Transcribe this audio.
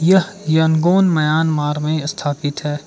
यह Yangon Myanmar में स्थापित है।